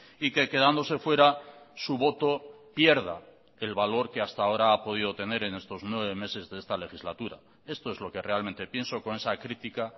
y que quedándose fuera su voto pierda el valor que hasta ahora ha podido tener en estos nueve meses de esta legislatura esto es lo que realmente pienso con esa crítica